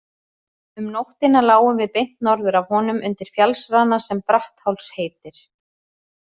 Um nóttina lágum við beint norður af honum undir fjallsrana sem Brattháls heitir.